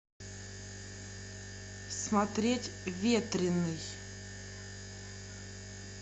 смотреть ветреный